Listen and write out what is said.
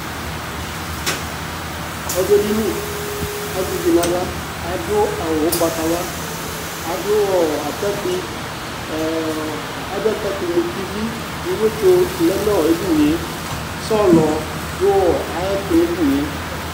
ɔdʋ edini azɛ ivii nuayla adʋ awʋʋ ʋgbatawla adʋʋatakpui ɛɛy atakpui mʋʋtivi iwɛtso lɛ nu edinie sɔlɔɔ dʋ ayuɛtʋ nu ɛdiniee